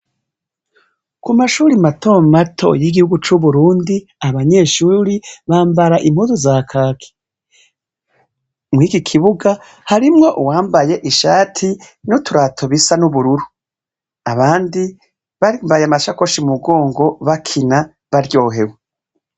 Kumashure mato mato yigiguhu cuburundi abanyeshure bambara impuzu za kaki mwikikibuga harimwo uwambaye ishati nuturato bisa nubururu abandi bambaye amashakoshi mumugongo bakina baryohewe